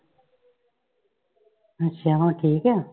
ਅੱਛਾ ਹੁਣ ਠੀਕ ਆ।